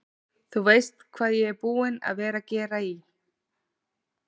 Þú veist hvað ég er búinn að vera að gera í.